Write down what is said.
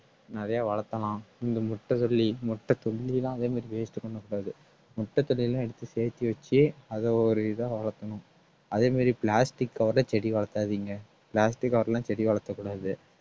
நிறைய வளர்த்தலாம் இந்த முட்டத்தொல்லி முட்டத்தொல்லி எல்லாம் அதே மாதிரி waste பண்ணக் கூடாது முட்டத்தொல்லியெல்லாம் எடுத்து சேத்தி வச்சு அத ஒரு இதா வளர்க்கணும் அதே மாதிரி plastic cover ல செடி வளர்த்தாதீங்க plastic cover லாம் செடி வளர்த்தக் கூடாது